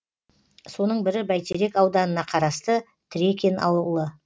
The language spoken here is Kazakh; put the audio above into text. соның бірі бәйтерек ауданына қарасты трекин ауылы